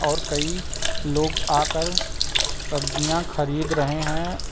और कई लोग आकर सब्जियां खरीद रहे हैं।